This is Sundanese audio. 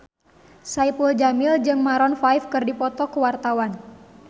Saipul Jamil jeung Maroon 5 keur dipoto ku wartawan